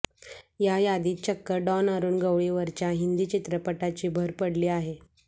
या यादीत चक्क डॉन अरुण गवळीवरच्या हिंदी चित्रपटाची भर पडली आहे